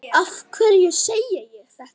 Af hverju segi ég þetta?